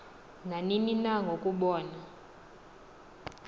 nanini na ngokubona